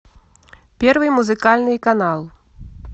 первый музыкальный канал